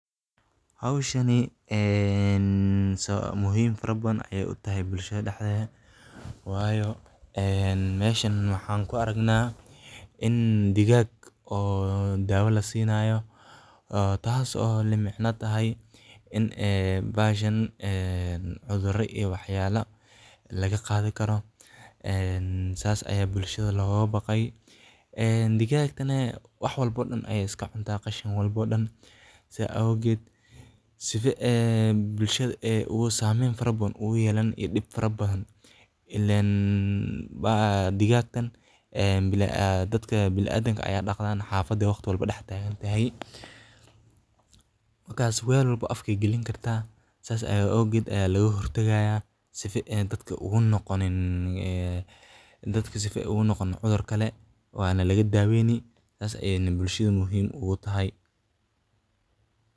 Hawshani muhiim fara badan ayey u tahay bulshada dhexdeeda, waayo meeshaan waxaan ku aragnaa in digaag dawo la siinayo, taasoo la micno ah in bahashan waxyaalo iyo cudur laga qaadi karo. Saas ayaa bulshada looga baqayaa. Digaagtana wax walba ayey iska cuntaa, qashin walbana way cuntaa. Saas darteed waxay si xooggan u saamayn kartaa bulshada waxayna u horseedi kartaa dhib fara badan. Ileen digaagtan dadka bini'aadamka ah ayey dhex joogtaa, xafadana waqti walba way dhex socotaa. Markaas weel walba afka ayey gelin kartaa. Saas darteed ayaa looga hortagayaa si aysan dadka ugu noqonin cudur kale. Waana laga daweynayaa, sidaas darteedna waxay muhiim u tahay bulshada.